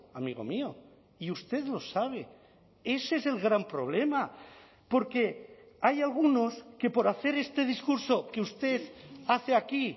amigo mío y usted lo sabe ese es el gran problema porque hay algunos que por hacer este discurso que usted hace aquí